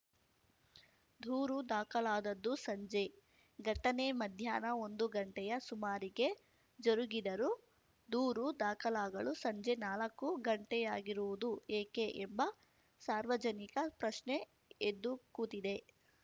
ದೂರು ದಾಖಲಾದದ್ದೂ ಸಂಜೆ ಘಟನೆ ಮಧ್ಯಾಹ್ನ ಒಂದು ಗಂಟೆಯ ಸುಮಾರಿಗೆ ಜರುಗಿದರೂ ದೂರು ದಾಖಲಾಗಲು ಸಂಜೆ ನಾಲಕ್ಕು ಗಂಟೆಯಾಗಿರುವುದು ಏಕೆ ಎಂಬ ಸಾರ್ವಜನಿಕ ಪ್ರಶ್ನೆ ಎದ್ದು ಕೂತಿದೆ